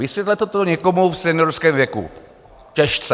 Vysvětlete to někomu v seniorském věku - těžce!